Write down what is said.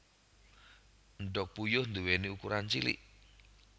Endhog puyuh nduwèni ukuran cilik